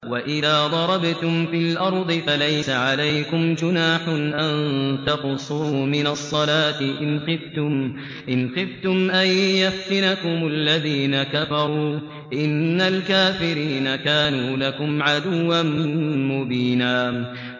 وَإِذَا ضَرَبْتُمْ فِي الْأَرْضِ فَلَيْسَ عَلَيْكُمْ جُنَاحٌ أَن تَقْصُرُوا مِنَ الصَّلَاةِ إِنْ خِفْتُمْ أَن يَفْتِنَكُمُ الَّذِينَ كَفَرُوا ۚ إِنَّ الْكَافِرِينَ كَانُوا لَكُمْ عَدُوًّا مُّبِينًا